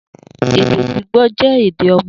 Ede gbigbo jẹ ede ọmọ.